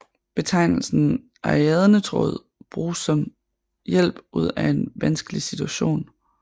Betegnelsen ariadnetråd bruges om hjælp ud af vanskelig situation